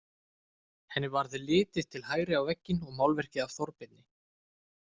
Henni varð litið til hægri á vegginn og málverkið af Þorbirni.